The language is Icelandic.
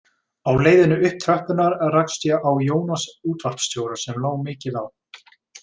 Á leiðinni upp tröppurnar rakst ég á Jónas útvarpsstjóra, sem lá mikið á.